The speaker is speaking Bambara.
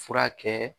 Fura kɛ